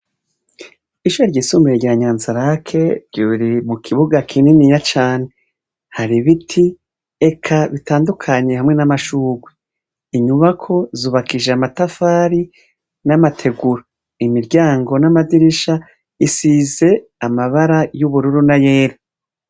Ishure ryisumbuye rya Nyanza Lake ryibereye mu kibuga kininiya cane. Hari ibiti, eka bitandukanye hamwe n'amashugwe. Inyubako zubakishije amatafari n'amategura, imiryango n'amadirisha isize amabara y'ubururu n'ayera.